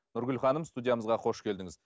нұргүл ханым студиямызға қош келдіңіз